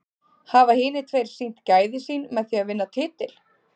Hafa hinir tveir sýnt gæði sín með því að vinna titil?